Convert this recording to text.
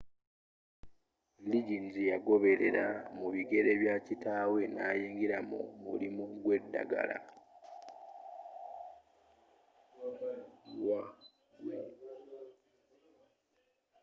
liggins yagoberela mu bigere bya kitaawe nayingira mu mulimu gwedagala